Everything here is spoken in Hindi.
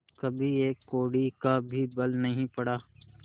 कभी एक कौड़ी का भी बल नहीं पड़ा